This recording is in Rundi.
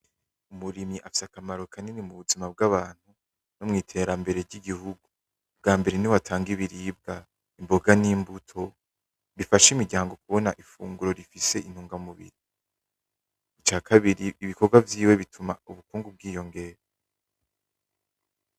Umurimyi afise akamaro kanini mu buzima bw'abantu no mu iterambere ry'Igihungu bwambere niwe atanga ibiribwa, imboga n'imbuto bifasha imiryango kubona ifunguro rifise intungamubiri icakabiri ibikorwa vyiwe bituma ubukungu bwiyongera.